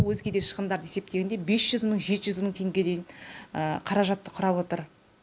алматы қаласына дейін үш жүз мың теңге